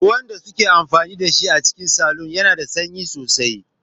Ruwan da suke amfani da shi a cikin salon yana da sanyi sosai.